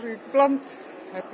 í bland